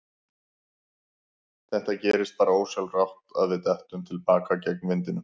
Það gerist bara ósjálfrátt að við dettum til baka gegn vindinum.